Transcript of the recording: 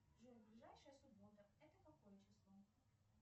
джой ближайшая суббота это какое число